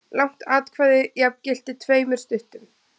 Langt atkvæði jafngilti tveimur stuttum.